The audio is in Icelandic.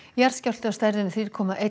jarðskjálfti af stærðinni þrjú komma eitt